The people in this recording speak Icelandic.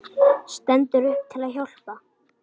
Stendur upp til að hjálpa.